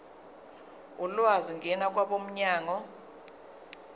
ulwazi ngena kwabomnyango